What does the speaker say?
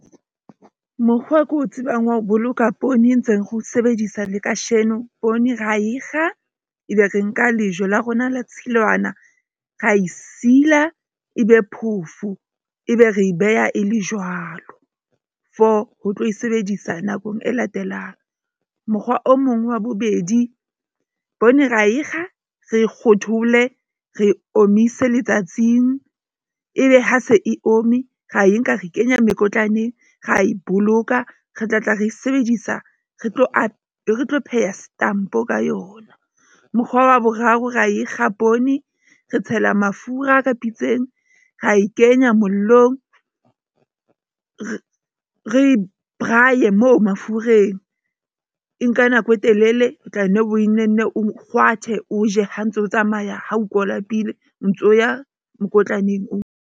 Mokgwa o ko tsebang wa ho boloka poone e ntseng re o sebedisa le kasheno, poone ra e kga ebe re nka lejwe la rona la tshilwana, ra e sila, ebe phoofo ebe re beha e le jwalo for ho tlo e sebedisa nakong e latelang. Mokgwa o mong wa bobedi poone ra e kga, re kgothole, re e omise letsatsing, ebe ha se e omme, ra e nka re kenya mekotlaneng, ra e boloka, re tlatla re sebedisa re tlo a tlo pheha setampo ka yona. Mokgwa wa boraro, ra e kga poone, re tshela mafura ka pitseng, ra e kenya mollo ng. Re re braai-ye moo mafureng. E nka nako e telele, o tla nne o nenne o kgwathe, o je ha ntso tsamaya ha o kwa o lapile o ntso ya mokotlaneng o.